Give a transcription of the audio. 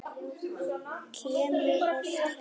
Kemur oft heim.